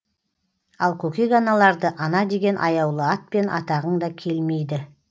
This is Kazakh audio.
ал көкек аналарды ана деген аяулы атпен атағың да келмейді